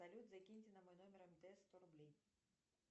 салют закиньте на мой номер мтс сто рублей